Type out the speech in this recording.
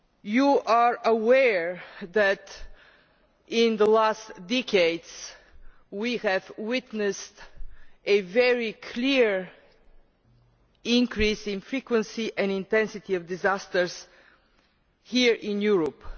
You are aware that in the last decades we have witnessed a very clear increase in the frequency and intensity of disasters here in Europe.